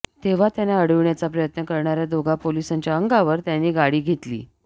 तेव्हा त्यांना अडविण्याचा प्रयत्न करणाऱ्या दोघा पोलिसांच्या अंगावर त्यांनी गाडी घेतली